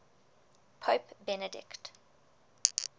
pope benedict